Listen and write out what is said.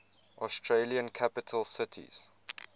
australian capital cities